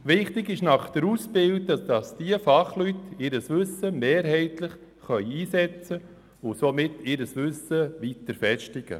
Es ist wichtig, dass die Fachleute nach der Ausbildung ihr Wissen einsetzen können und dieses damit weiter festigen.